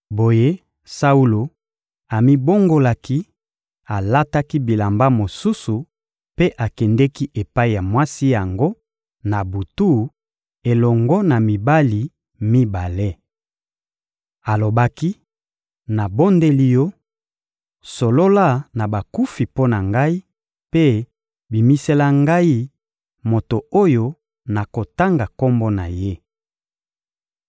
Boye Saulo amibongolaki, alataki bilamba mosusu mpe akendeki epai ya mwasi yango, na butu, elongo na mibali mibale. Alobaki: — Nabondeli yo, solola na bakufi mpo na ngai, mpe bimisela ngai moto oyo nakotanga kombo na ye.